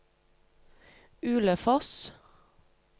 Ulefoss